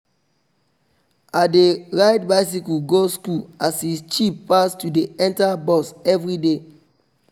i dey ride bicycle go school as e cheap pass to dey enter bus everyday